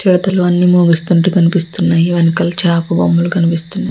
చిడతలు అన్ని మోగిస్తూ కనిపిస్తున్నాయి. వెనకాల అన్ని చేప బొమ్మలు కనిపిస్తున్నా --